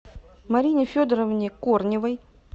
марине федоровне корневой